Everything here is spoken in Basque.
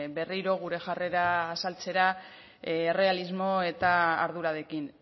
berriro gure jarrera azaltzera errealismo eta ardurarekin